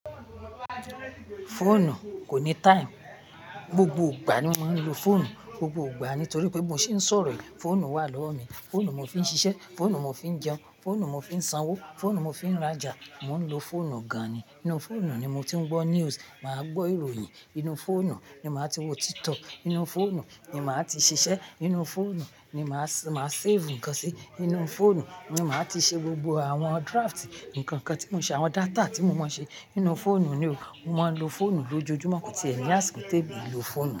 Fóònù kò ní time. Gbogbo ìgbà ni mo ń lo fóònù, gbogbo ìgbà nítorí pé bi mo se ń sọ̀rọ̀ yi, fóònù wà lọ́wọ́ mi, fóònù mo fi ń ṣiṣẹ́, fóònù mo fi ń jẹun, fóònù mo fi ń sanwó, fóònù mo fi ń rajà, mò ń lo fóònù gan-an ni. Inú fóònù ni mo ti ń gbọ́ news, mà á gbọ́ ìròyìn, inú fóònù ni mà á ti wo TikTok, inú fóònù ni mà á ti ṣiṣẹ́, inú fóònù ni mà á save ǹkan sí, inú fóònù ni mà á ti ṣe gbogbo àwọn drafts ǹkan kan tí mo ṣe, àwọn data tí mo maa n ṣe, inú fóònù ni o. Mo máa ń lo fóònù lójoojúmọ́ kò tí è ní a sì kò téè mi o ehin lo fóònù.